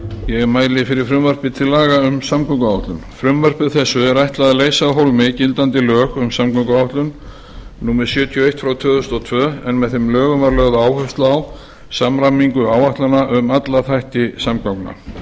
ég mæli fyrir frumvarpi til laga um samgönguáætlun frumvarpi þessu er ætlað að leysa af hólmi gildandi lög um samgönguáætlun númer sjötíu og eitt tvö þúsund og tvö en með þeim lögum var lögð áhersla á samræmingu áætlana um alla þætti samgangna